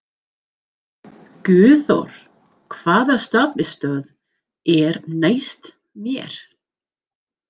Guðþór, hvaða stoppistöð er næst mér?